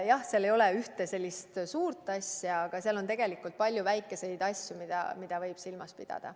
Jah, seal ei ole ühte sellist suurt asja, aga seal on tegelikult palju väikeseid asju, mida võib silmas pidada.